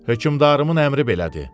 Hökmdarımın əmri belədir.